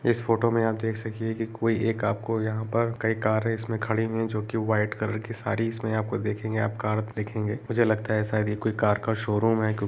इस फोटो में आप देख सकते हैं कि कोई एक आपको यहां पर कई कारे इसमें खड़ी हुई हैं जो की वाइट कलर की सारी इसमें आप को देखेंगे आप इसमें आप कार देखेंगे मुझे लगता है शायद यह कोई कार का शोरूम है |